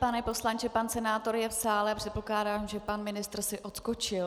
Pane poslanče, pan senátor je v sále, předpokládám, že pan ministr si odskočil.